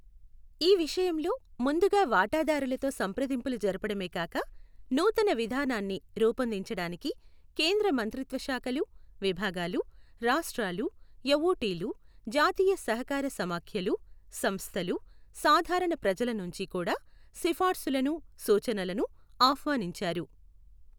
ఈ విషయంలో, ముందుగా వాటాదారులతో సంప్రదింపులు జరపడమే కాక నూతన విధానాన్ని రూపొందించడానికి కేంద్ర మంత్రిత్వ శాఖలు విభాగాలు రాష్ట్రాలు యఊటీలు, జాతీయ సహకార సమాఖ్యలు, సంస్థలు, సాధారణ ప్రజల నుంచి కూడా సిఫార్సులను, సూచనలను ఆహ్వానించారు.